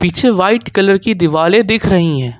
White colour की दिवाले दिख रही है।